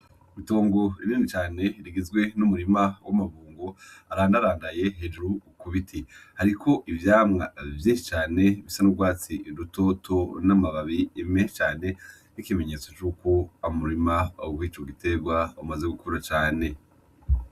Itongo rinini cane rigizwe n'umurima w'amabungo arandarandaye hejuru ku biti hariko ivyamwa vyinshi cane bisa n'urwatsi rutoto n'amababi menshi cane ikimenyetso cuko umurima w'ico giterwa umaze gukura cane